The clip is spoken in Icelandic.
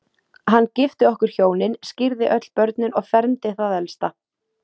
Hann gifti okkur hjónin, skírði öll börnin og fermdi það elsta.